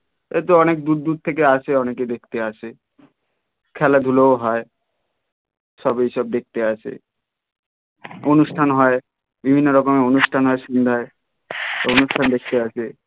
এই তো অনেক দূর দূর থেকে আসে অনেকে দেখতে আসে খেলাধুলো ও হয় সবই সব দেখতে আসে অনুষ্টান হয় বিভিন্ন রকমের অনুষ্ঠান হয় সন্ধ্যায় অনুষ্ঠান দেখতে আসে.